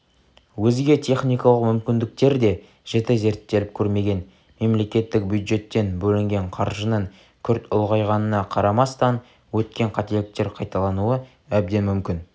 өзге техникалық мүмкіндіктер де жіті зерттеліп көрмеген мемлекеттік бюджеттен бөлінген қаржының күрт ұлғайғанына қарамастан өткен қателіктер қайталануы әбден мүмкін